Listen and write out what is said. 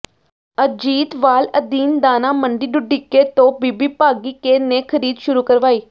ਅਜੀਤਵਾਲ ਅਧੀਨ ਦਾਣਾ ਮੰਡੀ ਢੁੱਡੀਕੇ ਤੋਂ ਬੀਬੀ ਭਾਗੀਕੇ ਨੇ ਖਰੀਦ ਸ਼ੁਰੂ ਕਰਵਾਈ